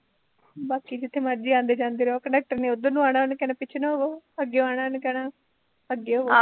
ਬਾਕੀ ਜਿੱਥੇ ਮਰਜ਼ੀ ਆਉਂਦੇ ਜਾਂਦੇ ਰਹੋ conductor ਨੇ ਓਦਰ ਨੂੰ ਆਉਣਾ ਉਹਨੇ ਕਹਿਣਾ ਪਿੱਛੇ ਨੂੰ ਹੋਵੋ, ਅੱਗਿਓ ਆਉਣਾ ਉਹਨੇ ਕਹਿਣਾ ਅੱਗੇ ਹੋਵੋ